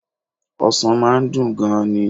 Ọsàn máa n dùn gan ni